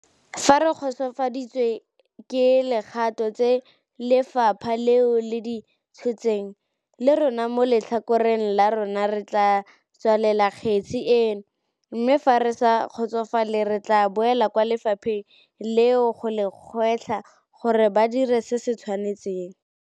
Fa re kgotsofaditswe ke dikgato tse lefapha leo le di tshotseng, le rona mo letlhakoreng la rona re tla tswalela kgetse eno, mme fa re sa kgotsofala re tla boela kwa lefapheng leo go le gwetlha gore ba dire se se tshwanetseng.